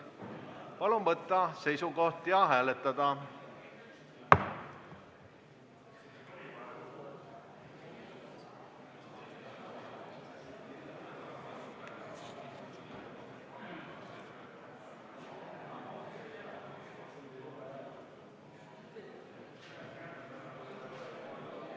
Palun võtta seisukoht ja hääletada!